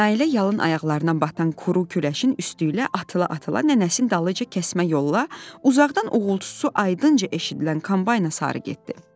Nailə yalın ayaqlarına batan quru küləşin üstüylə atıla-atıla nənəsinin dalınca kəsmə yolla uzaqdan uğultusu aydınca eşidilən kombayna sarı getdi.